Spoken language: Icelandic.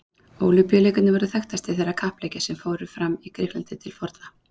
Ólympíuleikarnir voru þekktastir þeirra kappleikja sem fram fóru í Grikklandi til forna.